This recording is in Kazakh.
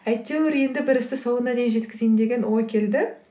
әйтеуір енді бір істі соңына дейін жеткізейін деген ой келді